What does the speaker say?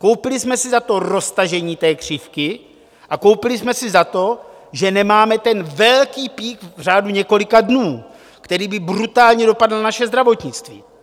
Koupili jsme si za to roztažení té křivky a koupili jsme si za to, že nemáme ten velký peak v řádu několika dnů, který by brutálně dopadl na naše zdravotnictví.